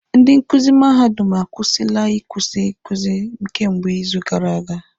Ndị nkuzi mahadum akwụsịla ikuzi nkuzi kemgbe izu gara aga.